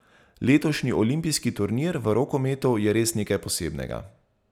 Letošnji olimpijski turnir v rokometu je res nekaj posebnega.